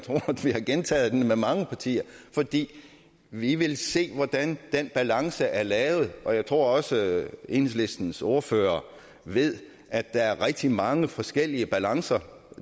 har gentaget den med mange partier fordi vi vil se hvordan den balance er lavet og jeg tror også at enhedslistens ordfører ved at der er rigtig mange forskellige balancer